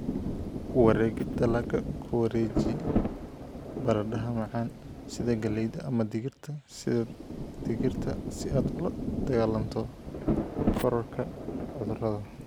Wareegid Dalagga Ku wareeji baradhada macaan sida galleyda ama digirta sida digirta si aad ula dagaallanto kororka cudurrada.